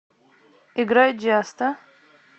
играй джаста